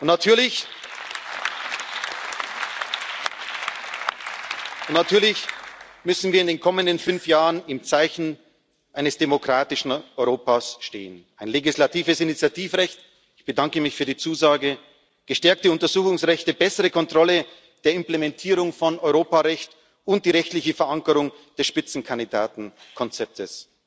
Natürlich müssen wir in den kommenden fünf Jahren im Zeichen eines demokratischen Europas stehen ein legislatives Initiativrecht ich bedanke mich für die Zusage gestärkte Untersuchungsrechte, bessere Kontrolle der Implementierung von Europarecht und die rechtliche Verankerung des Spitzenkandidatenkonzeptes,